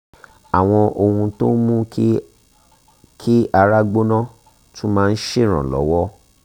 àwọn ohun tó ń mú kí kí ara gbóná tún máa ń ṣèrànlowọ́